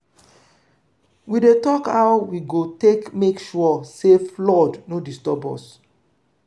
we dey tok how we go take make sure sey flood no disturb us.